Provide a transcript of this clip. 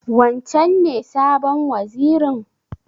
Wancen ne sabon wazirin?